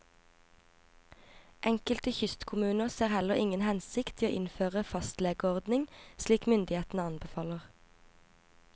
Enkelte kystkommuner ser heller ingen hensikt i å innføre fastlegeordning, slik myndighetene anbefaler.